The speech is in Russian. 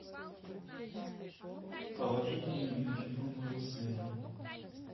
положи деньги на телефон моего сына